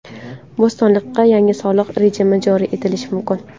Bo‘stonliqda yangi soliq rejimi joriy etilishi mumkin.